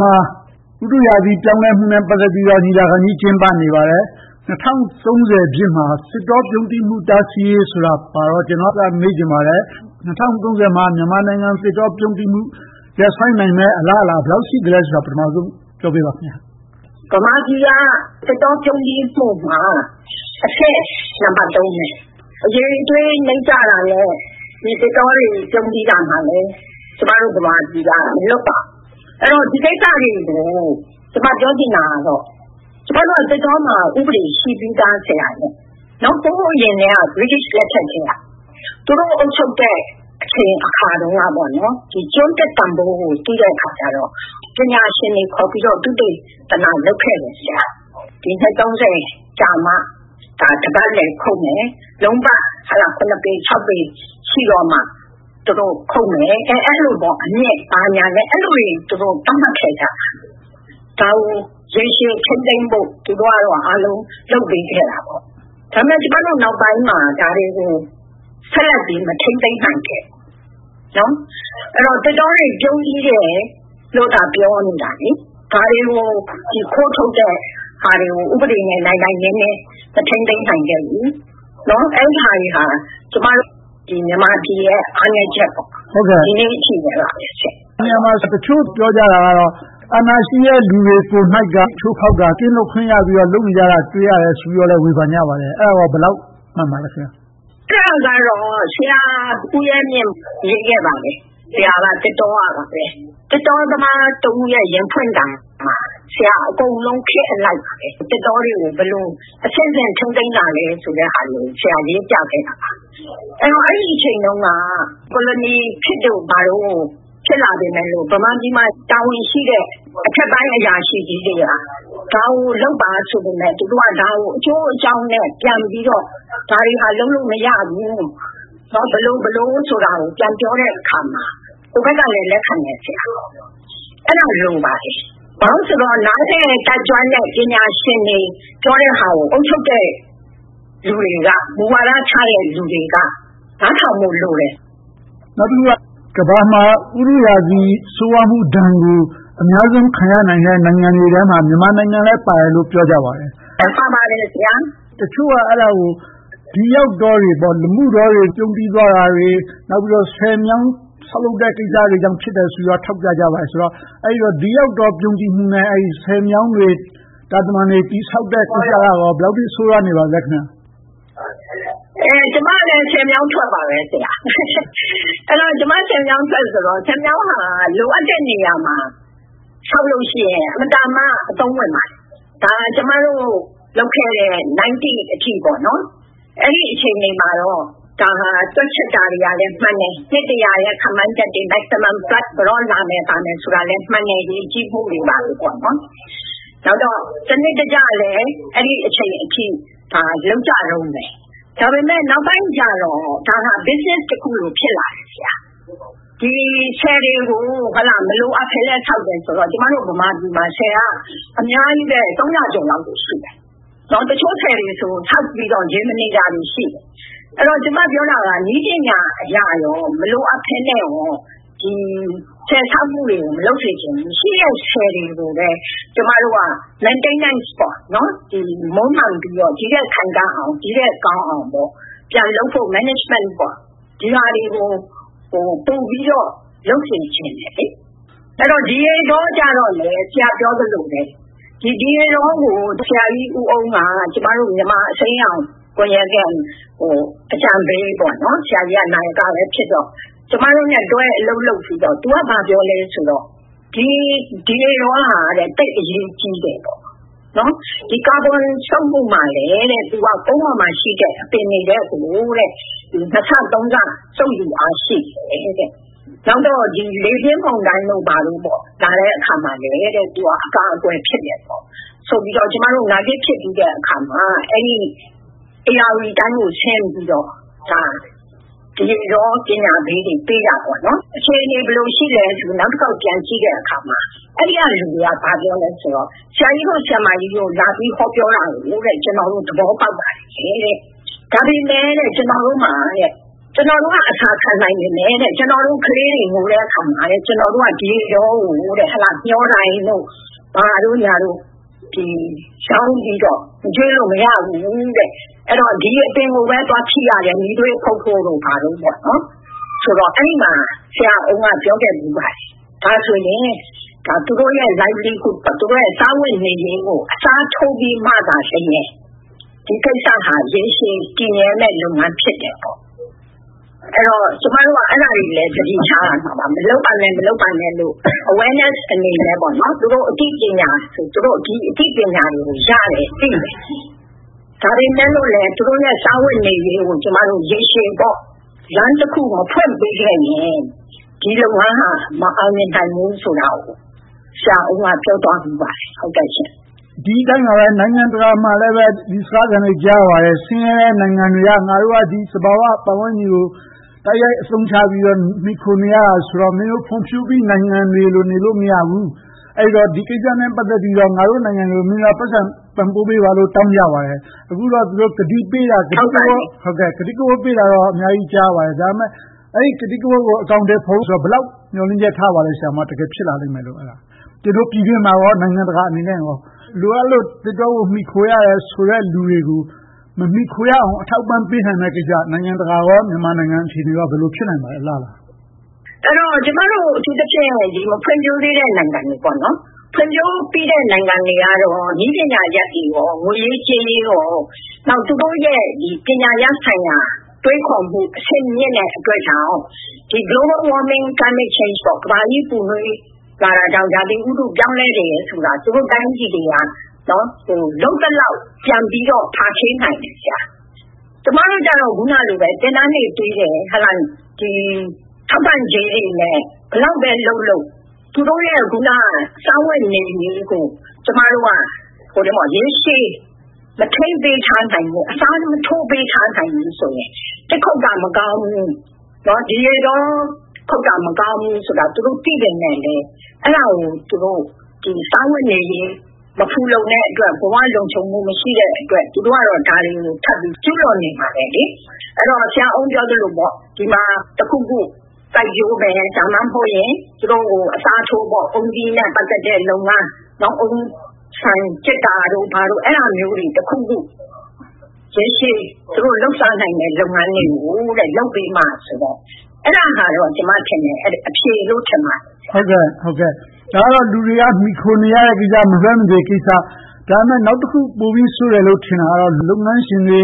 မှာ ဥတုရာသီ ပြောင်းလဲမှုနဲ့ ပတ်သက်ပြီးတော့ ညီလာခံကြီး ကျင်းပနေပါတယ်။ ၂၀၃၀ ပြည့်မှာ သစ်တောပြုန်းတီးမှု တားဆီးရေးပါတော့ အဲဒါကို ကျနော်မေးချင်ပါတယ်။ ၂၀၃၀ မှာ မြန်မာနိုင်ငံသစ်တောပြုန်းတီးမှု ရပ်ဆိုင်းနိုင်မယ့် အလားအလာ ဘယ်လောက်ရှိသလဲဆိုတာကို ပထမဦးဆုံးပြောပေးပါ။ မြန်မာပြည်က သစ်တောပြုန်းတီးမှုမှာ အဆင့်နံပတ် ။ အရည်အသွေးနိမ့်ကျတာကော၊ သစ်တောတွေ ပြုန်းတီးရာမှာလည်း မြန်မာပြည်က မလုပ်ပါ။ ဒီကိစ္စကို ကျမပြောချင်တာက သစ်တောမှာ ဥပဒေကတော့ ရှိပြီသားပါ။ ဟိုးအရင် ဗြိတိသျှလက်ထက်ကတည်းက သူတို့အုပ်ချုပ်တဲ့ အချိန်အခါတုန်းက ကျွန်သစ်ရဲ့တန်းဖိုးကို သိလိုက်တဲ့အခါကြတော့ ပညာရှင်တွေခေါ်ပြီး သုတေသန လုပ်ခဲ့တယ်။ နှစ် ကြာမှာ တပတ်လည်ခုတ်မယ်။ လုံးပတ် ပေ ပေ ရှိတော့မှ ခုတ်မယ် အဲဒီလိုတွေ သတ်မှတ်ခဲ့ကြတယ်။ ဒါကို ရေရှည်ထိန်းသိမ်းဖို့ သူတို့ကတော့ အားလုံးလုပ်ပေးခဲ့တယ်။ ဒါပေမဲ့ နောက်ပိုင်းမှာ ဒါတွေကို ဆက်လက်ပြီး မထိန်းသိမ်းနိုင်ခဲ့ဘူး။ အဲဒီတော့ သစ်တောတွေ ပြုန်းတီးနေတယ်လို့သာ ပြောနေတာ ခိုးထုတ်တဲ့ဟာတွေကို ဥပဒေနဲ့ နိုင်နိုင်နင်းနင်း မထိန်းသိမ်းနိုင်ခဲ့ဘူး။ အဲဒါတွေက ကျမတို့ မြန်မာပြည်ရဲ့ အားနည်းချက်တွေပါ။ ဒီနေ့အထိပါပဲ။ အဲဒီနေရာမှာ တချို့ပြောကြတာကတော့ အာဏာရှိတဲ့လူတချို့ကိုယ်တိုင်က ချိုးဖောက်တာ။ ကင်းလွတ်ခွင့်ရပြီးတော့ လုပ်နေကြတာကို တွေ့ရတယ်လို့ ဝေဖန်ကြပါတယ်။ အဲဒါကော ဘယ်လောက်မှန်ပါသလဲ။ အဲဒါကတော့ ဆရာဦးရဲမြင့် ရေးခဲ့ပါတယ်။ ဆရာက သစ်တောကပါပဲ။ သစ်တောသမားတဦးရဲ့ ရင်ဖွင့်သံမှာ ဆရာက ခေတ်အလိုက်ပဲ သစ်တောတွေကို ဘယ်လိုအဆင့်ဆင့် ထိန်းသိမ်းလာခဲ့သလဲဆိုတာတွေကို ဆရာ ရေးပြခဲ့ပါတယ်။ အဲဒီအချိန်တုန်းက ကိုလိုခေတ်တို့ဘာတို့ ဖြစ်လာခဲ့ပေမယ့် ဗမာပြည်မှာ တာဝန်ရှိတဲ့ အထက်ပိုင်းအရာရှိကြီးတွေက ဒါကိုလုပ်ပါဆိုပေမယ့် ဒါကို သူတို့ အကျိုးအကြောင်းနဲ့ ဒါတွေက လုပ်လို့မရဘူး။ ဘယ်လိုဘယ်ဝါဆိုတာကို ပြန်ပြောတဲ့အခါမှာ ဟိုဘက်ကလဲ လက်ခံတယ်။ အဲဒါမျိုး လိုပါတယ်။ ဘာဖြစ်လို့လဲဆိုတော့ နားလည်တတ်ကျွမ်းတဲ့ ပညာရှင်တွေ ပြောတဲ့ဟာကို အုပ်ချုပ်တဲ့လူတွေက မူဝါဒချတဲ့လူတွေက နားထောင်ဖို့လိုတယ်။ နောက်တခုက ကမ္ဘာပေါ်မှာ ဥတုရာသီး ဆိုးဝါးမှုဒဏ်ကို အများဆုံးခံရနိုင်တဲ့ နိုင်ငံတွေထဲမှာ မြန်မာနိုင်ငံလည်းပါတယ်လို့ ပြောကြပါတယ်။ တချို့က အဲဒါကို ဒီရေတောတွေ၊ လမုတောတွေ ပြုန်းတီးသွားတာတွေ၊ ဆည်မြောင်းဆောက်လုပ်တဲ့ ကိစ္စတွေကြောင့် ဖြစ်တယ်ဆိုပြီးတော့ ထောက်ပြကြပါတယ်။ အဲဒီတော့ ဒီရောက်တော့ ပြုန်းတီးမှုနဲ့ ဆည်မြောင်းတွေ၊ တာတမံတွေ တည်ဆောက်တဲ့ကိစ္စက ဘယ်လောက်အထိ ဆိုးဝါးပါသလဲ။ မှန်ပါတယ် ဆရာ။ ကျမလည်း ဆည်မြောင်းထွက်ပါပဲ။ ကျမက ဆည်မြောင်းထွက်ဆိုတော့ ဆည်မြောင်းဟာ လိုအပ်တဲ့နေရာမှာ ဆောက်လို့ရှိရင် အင်မတန်မှ အသုံးဝင်ပါတယ်။ ဒါက ကျမတို့လုပ်ခဲ့တဲ့ ၁၉၉၀ အထိပေါ့။ အဲဒီအချိန်တွေမှာတော့ တွက်ချက်တာတွေကလည်း မှန်တယ်။ နှစ်တစ်ရာ ခန့်မှန်းချက် maximum ဘာညာလာမယ်ဆိုတာလည်း မှန်တယ်။ ရေကြီးမှုတွေ ဘာတွေပေါ့။ နောက်တော့ စနစ်တကျလည်း အဲဒီအချိန်အထိ လုပ်ကြတုန်းပဲ။ ဒါပေမဲ့ နောက်ပိုင်းကြတော့ ဒါကို business တခုလို ဖြစ်လာတယ်။ ဆည်တွေကို မလိုအပ်ဘဲလဲ ဆောက်တယ်ဆိုတော့ ကျမတို့ ဗမာပြည်မှာ ဆည်က အများကြီးပဲ။ သုံးရာကျော်လောက် ရှိတယ်။ တချို့ဆည်တွေဆိုရင် ဆောက်ပြီးတော့ ရေမနေတာတွေ ရှိတယ်။ ကျမပြောတာက နည်းပညာအရနဲ့ မလိုအပ်ဘဲနဲ့ ဆည်ဆောက်မှုတွေကို မလုပ်စေချင်ဘူး။ ရှိတဲ့ဆည်တွေကိုပဲ maintenance ထိန်းသိမ်းပြီးတော့ မွံမမ်းပြီးတော့ ဒီထက်ခိုင်ခံ့အောင် ဒီထက်ကောင်းအောင် ပြန်လုပ်ဖို့ management စီမံလုပ်ဆောင်ဖို့ ပိုပြီးတော့ လုပ်စေချင်တယ်။ ဒီရေတောကြတော့လဲ ဆရာပြောသလိုပဲ ဒီရေတောကို ဆရာကြီးဦးအုန်းက ကျမတို့ မြန်မာအစိမ်းရောင်ကွန်ရက်ရဲ့ အကြံပေး။ ဆရာကြီးက နာယကလည်းဖြစ်တော့ ကျမတို့နဲ့တွဲပြီး အလုပ်လုပ်ဖူးတော့ ဆရာကြီးက ဘာပြောလဲဆိုတော့ ဒီရေတောက သိပ်အရေးကြီးတယ်။ ကာဘွန်စုပ်မှုမှာလည်း သူက ကုန်ပေါ်မှာရှိတဲ့ အပင်တွေထက်ကို နှစ်ဆသုံးဆ စုပ်ယူအားရှိတယ်။ နောက်တော့ လေပြင်းမုန်တိုင်တို့ ဘာတို့ လာတဲ့အခါမှာလဲ သူက အကာအကွယ် ဖြစ်တယ်ဆိုပြီးတော့ နာဂစ်ဖြစ်ပြီးတဲ့အခါမှာ ဧရာဝတီတိုင်းကို ဆင်းပြီးတော့ ဒီရေတောပညာပေးတွေ ပေးခဲ့တယ်။ အခြေအနေ ဘယ်လိုရှိသလဲဆိုပြီးတော့ နောက်တခေါက်ပြန်ကြည့်တဲ့အခါမှာ အဲဒီကလူတွေက ဘာပြောသလဲဆိုတော့ ဆရာကြီးတို့၊ ဆရာမတို့ လာပြီးဟောပြောတာကို ကျနော်တို့ သဘောပေါက်ပါတယ်။ ဒါပေမဲ့ ကျနော်တို့မှာ ကျနော်တို့က အဆာခံနိုင်ပေမယ့် ကျနော်တို့ ခလေးတွေ ငိုတဲ့အခါမှာ ကျနော်တို့ ဒီရေတောကို မျှောတိုင်တို့ ဘာတို့ ရောင်းပြီးတော့ မကျွေးလို့မရဘူး။ အဲဒီတော့ ဒီအပင်တွေကိုပဲ သွားပြီးတော့ ထိရတယ်။ မီးသွေးဖုတ်ဖို့တို့ ဘာတို့ပေါ့။ ဆိုတော့ အဲဒီမှာ ဆရာအုန်းက ပြောခဲ့တယ် - ဒါဆိုရင် ဒါ သူတို့ရဲ့ livelihood စားဝတ်နေရေးကို အစားထိုးပြီးမှသာလျှင် ဒီကိစ္စက ရေရှည်တည်မြဲမယ့် လုပ်ငန်းဖြစ်တယ်။ အဲဒီတော့ ကျမတို့က အဲဒါတွေကိုလည်း သတိထားရမယ်။ မလုပ်ပါနဲ့လို့ awareness အနေနဲ့ သူတို့ ဒီအသိပညာတွေ ရတယ်၊ သိတယ်။ ဒါပေမဲ့ သူတို့ရဲ့ စားဝတ်နေရေးကို ကျမတို့ ရေရှည်လမ်းတခု မဖွင့်ပေးခဲ့ရင် ဒီလုပ်ငန်းဟာ မအောင်မြင်နိုင်ဘူးဆိုတာကို ဆရာအုန်းက ပြောသွားခဲ့ဖူးပါတယ်။ ဒီအတိုင်းပါပဲ နိုင်ငံတကာမှာလည်း ဒီစကားသံတွေကို ကြားရပါတယ်။ ဆင်းရဲတဲ့နိုင်ငံတွေက ငါတို့က ဒီသဘာဝပတ်ဝန်းကျင်ကို တိုက်ရိုက်အသုံးချပြီးတော့ မှီခိုနေရတယ်ဆိုတော့ မင်းတို့ဖွံ့ဖြိုးပြီး နိုင်ငံတွေလို နေလို့ မရဘူး။ အဲဒီတော့ ဒီကိစ္စတွေနဲ့ ပတ်သက်ပြီးတော့ ငါတို့နိုင်ငံတွေကို မင်းတို့တွေက ပိုက်ဆံပံ့ပိုးပေးပါလို့ တောင်းကြပါတယ်။ အခုတော့ သူတို့ကတိကဝတ်ပေးတာတွေ အများကြီး ကြားရပါတယ်။ ဒါပေမဲ့ အဲဒီကတိကဝတ်တွေကို အကောင်ထည်ဖော်ဖို့ဆိုတာ ဘယ်လောက်အထိ မျှော်လင့်ချက်ထားပါသလဲ - တကယ်ဖြစ်လာလိမ့်မယ်လို့ ကျနော်တို့ ပြည်တွင်းမှာနဲ့ နိုင်ငံတကာအနေနဲ့ လိုအပ်လို့ သစ်တောကို မှီခိုရတယ်ဆိုတဲ့ လူတွေကို မမှီခိုရအောင် အထောက်အပံ့ပေးနိုင်မယ့်ကိစ္စ နိုင်ငံတကာနဲ့ မြန်မာနိုင်ငံအခြေအနေ ဘယ်လိုဖြစ်နိုင်ပါသလဲ။ အလားအလာ ရှိပါသလဲ။ အထူးသဖြင့် ကျမတို့ မဖွံ့ဖြိုးသေးတဲ့ နိုင်ငံတွေ။ ဖွံ့ဖြိုးပြီးတဲ့နိုင်ငံတွေကတော့ နည်းပညာနဲ့ ငွေရေးကြေးရေး - နောက် သူတို့ရဲ့ ပညာရပ်ဆိုင်ရာ တွေးခေါ်မှု အဆင့်မြင့်တဲ့အတွက်ကြောင့် Global Warming Climate Change ကမ္ဘာကြီး ပူနွေးလာတာကြောင့် ရာသီဥတု ပြောင်းလဲလာတယ်ဆိုတာ သူတို့တိုင်းပြည်တွေက လုပ်သလောက် ပြန်ပြီးတော့ ဖာထေးနိုင်တယ်။ ကျမတို့ကြတော့ အခုနလိုပဲ သင်တန်းတွေပေးတယ်။ ထောက်ပံ့ကြေးတွေနဲ့ ဘယ်လောက်ပဲလုပ်လုပ် သူတို့ရဲ့ စားဝတ်နေရေးကို ကျမတို့က ရေရှည် မထိန်းသိမ်းထားနိုင်ဘူး။ အစားမထိုးပေးနိုင်ဘူးဆိုရင် သစ်ခုတ်တာ မကောင်းဘူး၊ ဒီရေတောခုတ်တာ မကောင်းဘူးဆိုတာ သူတို့သိပေမဲ့လဲ အဲဒါကို သူတို့စားဝတ်နေရေး မဖူလုံတဲ့အတွက် ဘဝလုံခြုံမှု မရှိတဲ့အတွက် သူတို့က ဒါတွေကို ထပ်ပြီးတော့ ကျူးလွန်နေမှာပဲ။ အဲဒီတော့ ဆရာအုန်းပြောသလိုပေါ့ ဒီမှာတခုခု စိုက်ပျိုးမယ်။ ဒါမှမဟုတ် သူတို့ကို အစားထိုး အုန်းသီးနဲ့ ပတ်သက်တဲ့လုပ်ငန်း။ အုန်းဆံကျစ်တာတို့ ဘာတို့ အဲဒါမျိုးတွေ တခုခု ရေရှည်လုပ်နိုင်မယ့် လုပ်ငန်းတွေကို လုပ်ပေးပါဆိုတော့ အဲဒါကတော့ ကျမထင်တယ် အဖြေလို့ ထင်ပါတယ်။ ဒါတွေကတော့ လူတွေ မှီခိုနေရတဲ့ကိစ္စဖြစ်တော့ မလွဲမသွေကိစ္စ။ ဒါပေမဲ့ နောက်တခု ပိုပြီးဆိုးတယ်လို့ ထင်တာကတော့ လုပ်ငန်းရှင်တွေ